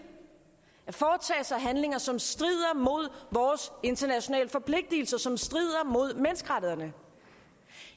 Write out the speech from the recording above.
at foretage sig handlinger som strider mod vores internationale forpligtelser som strider mod menneskerettighederne